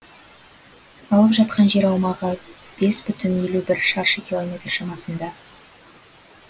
алып жатқан жер аумағы бес бүтін елу бір шаршы километр шамасында